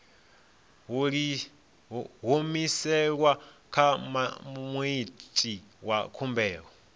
humiselwa kha muiti wa khumbelo